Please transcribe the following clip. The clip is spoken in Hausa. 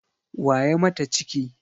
Wa ya mata ciki?